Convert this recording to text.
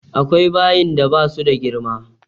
Akwai bayin da ba su da girma.